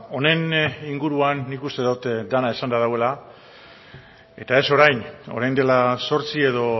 honen inguruan nik uste dut dena esanda dagoela eta ez orain orain dela zortzi edo